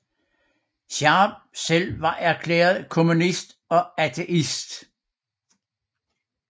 Charb selv var erklæret kommunist og ateist